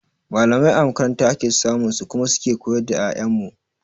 Mallamai a makaranta ake samun su kuma su ke koyar da 'ya'yan mu.